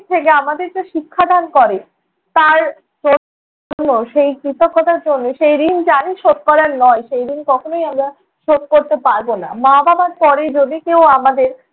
দিক থেকে আমাদের যে শিক্ষাদান করে তার জন্য সেই কৃতজ্ঞতার জন্য। সেই ঋণ জানি শোধ করার নয় সেই ঋণ কখনই আমরা শোধ করতে পারব না। মা-বাবার পরে যদি কেউ আমাদের